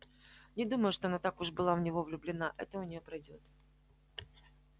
не думаю чтобы она так уж была в него влюблена это у нее пройдёт